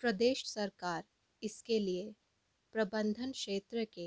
प्रदेश सरकार इसके लिए प्रबंधन क्षेत्र के